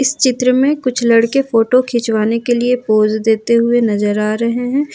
इस चित्र में कुछ लड़के फोटो खिंचवाने के लिए पोज देते हुए नजर आ रहे हैं ।